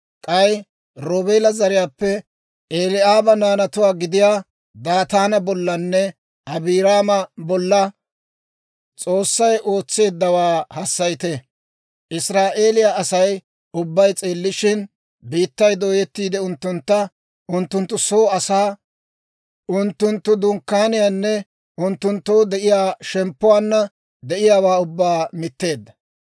K'ay Roobeela zariyaappe Eli'aaba naanatuwaa gidiyaa Daataana bollanne Abiiraama bolla S'oossay ootseeddawaa hassayite. Israa'eeliyaa Asay ubbay s'eellishin, biittay dooyettiide, unttuntta, unttunttu soo asaa, unttunttu dunkkaaniyaanne unttunttoo de'iyaa shemppuwaanna de'iyaawaa ubbaa mitteedda.